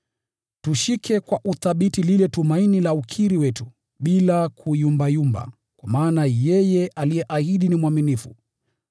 Tushike kwa uthabiti lile tumaini la ukiri wetu bila kuyumbayumba, kwa maana yeye aliyeahidi ni mwaminifu.